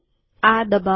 આ દબાઉં